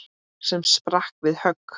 sem sprakk við högg.